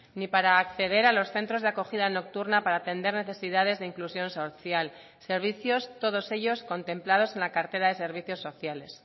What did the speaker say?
ni para acceder a los centros de acogida nocturna para atender necesidades de inclusión social servicios todos ellos contemplados en la cartera de servicios sociales